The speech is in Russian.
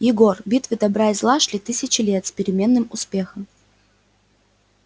егор битвы добра и зла шли тысячи лет с переменным успехом